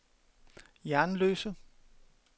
Jernløse